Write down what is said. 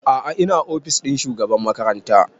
A'a ina ofis ɗin shugaban makaranta